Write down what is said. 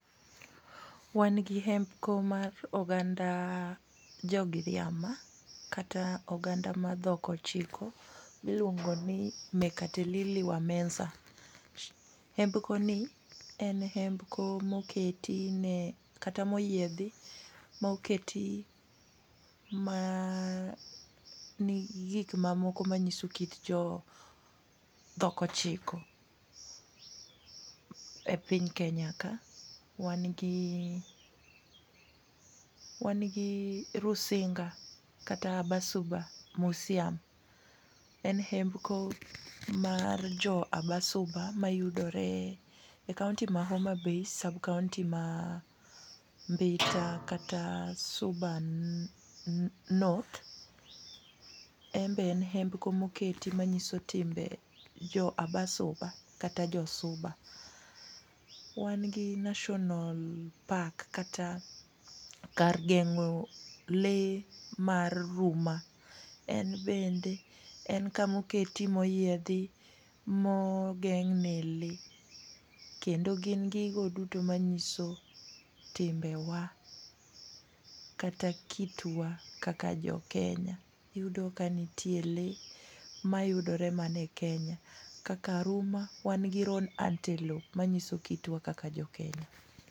Wan gi hembko mar oganda Jogiriama kata oganda mar dhok ochiko miluongo ni Mekatilili Wa Menza. Hembkoni en hembco moketi kata moyiedhi moketi manigi gik mamoko manyiso kit jo dhok ochiko e piny Kenya ka. Wan gi Rusinga kata Basuba musiam . En hembko mar jo Abasuba mayudoe e kaonti ma Homabay, sab kaonti ma Mbita kata suba north. En be en hembko moketi manyiso timbe jo Abasuba kata jo Suba. Wan gi national park kata kar geng'o lee mar huma. En bende en kamoketi moyiedhi mogeng'ne lee, kendo gin gigo duto manyiso timbewa kata kitwa kaka jokenya. Iyudo ka nitie lee mayudore mana e Kenya kaka Aruma, Wan gi road antelope manyiso kitwa kaka jokenya.